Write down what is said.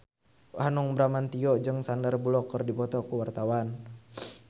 Hanung Bramantyo jeung Sandar Bullock keur dipoto ku wartawan